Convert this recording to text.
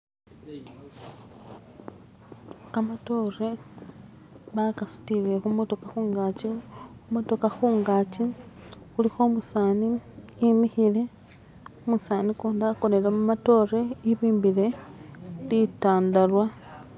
Kamatoore bakasutire khu'matokha khungatsi, khulikho umu'sani e'mikhile, umusani ukundi akonele khumatore e'bimbile li'tandarwa.